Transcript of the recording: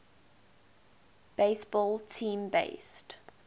baseball team based